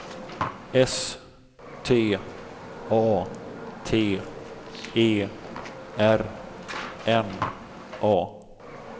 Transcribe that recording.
S T A T E R N A